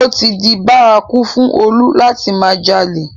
Ó ti di bárakú fún Olú láti máa jalè